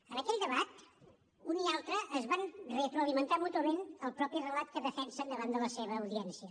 en aquell debat un i altre es van retroalimentar mútuament el propi relat que defensen davant de la seva audiència